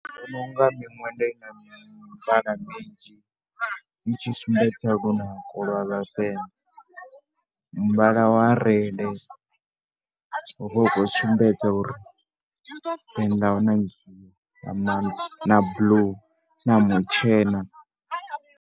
Ndi vhona u nga minwenda i na mivhala minzhi i tshi sumbedza lunako lwa vhavenḓa. Muvhala wa red, u vha u khou sumbedza uri na, na blue na mutshena.